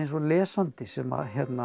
og lesandi sem að